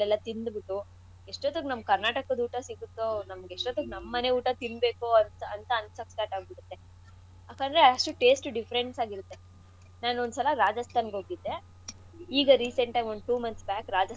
ತಿಂದ್ಬುಟ್ಟು ಇಷ್ಟೊತ್ತಿಗ್ ನಮ್ ಕರ್ನಾಟಕದ್ ಊಟ ಸಿಕ್ಕತ್ತೋ ನಮ್ಗ್ ಎಷ್ಟೋತ್ತಿಗ್ ನಮ್ ಮನೆ ಊಟ ತಿನ್ಬೇಕೋ ಅಂತ ಅನ್ಸಕ್ start ಆಗ್ಬಿಡತ್ತೆ ಯಾಕಂದ್ರೆ ಅಷ್ಟು taste ಉ difference ಆಗ್~ ಆಗಿರತ್ತೆ ನಾನೊಂದ್ಸಲ ರಾಜಸ್ಥಾನ್ಗ್ ಹೋಗಿದ್ದೆ ಈಗ recent ಆಗ್ ಒಂದ್ two months back